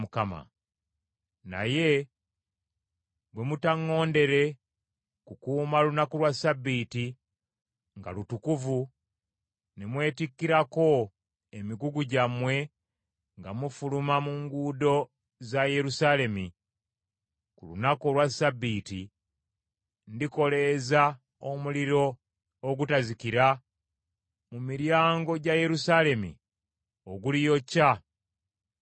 Naye bwe mutaŋŋondere kukuuma lunaku lwa Ssabbiiti nga lutukuvu ne mwetikkirako emigugu gyammwe nga mufuluma mu nguudo za Yerusaalemi ku lunaku olwa Ssabbiiti, ndikoleeza omuliro ogutazikira mu miryango gya Yerusaalemi oguliyokya ebigo byakyo.’ ”